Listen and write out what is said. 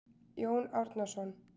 Jón Árnason.